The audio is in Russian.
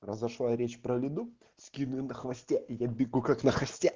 произошла речь про лиду скины на хвосте и я бегу как на хасте